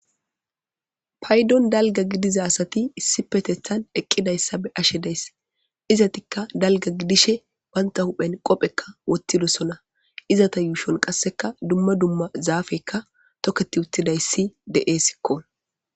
Paydon dalgga gidiza asati issipeteththan eqqidayssa be'ashe dayssi. Izetikka dalgga gidishe bagga huphphen qophekka wothtidoosona. Izeta yuushon qassekka dumma dumma zaafeykka toketi uttidayssi de'essikko.